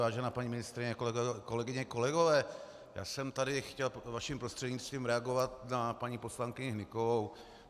Vážená paní ministryně, kolegyně, kolegové, já jsem tady chtěl vaším prostřednictvím reagovat na paní poslankyni Hnykovou.